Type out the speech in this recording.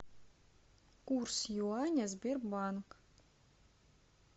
курс юаня сбербанк